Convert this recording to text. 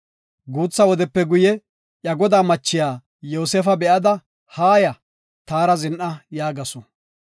Guutha wodepe guye, iya godaa machiya Yoosefa be7ada, “Haaya, taara zin7a” yaagasu.